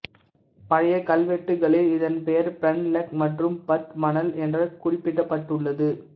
பழைய கல்வெட்டுகளில் இதன் பெயர் பிரன்லக் மற்றும் பத்மனல் என்று குறிப்பிடப்பட்டுள்ளது